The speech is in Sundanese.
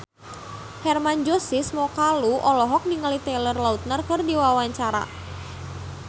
Hermann Josis Mokalu olohok ningali Taylor Lautner keur diwawancara